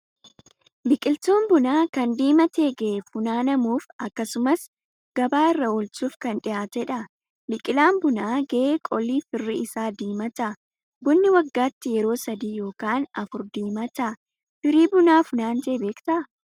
Biqiltuun bunaa kan diimatee gahe funaanamuuf akkasumas gabaa irra oolchuuf kan dhiyaatedha. Biqilaan bunaa gahe qolli firii isaa ni diimata. Bunni waggaatti yeroo sadii yookaan afur diimata. Firii bunaa funaantee beektaa?